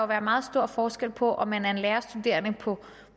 være meget stor forskel på om man er lærerstuderende på